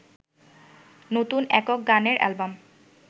নতুন একক গানের অ্যালবাম